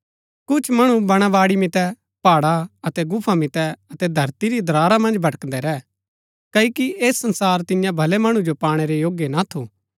कुछ मणु बणाबाड़ी मितै पहाड़ा अतै गुफा मितै अतै धरती री दरारा मन्ज भटकदै रै क्ओकि ऐह संसार तियां भलै मणु जो पाणै रै योग्य ना थू